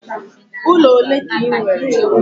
Ụlọ ole ka ị nwere?